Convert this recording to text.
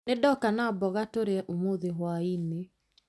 Nĩndoka na mboga tũrĩe ũmũthĩ hwaĩ-inĩ